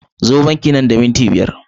Zo banki nan da minti biyar!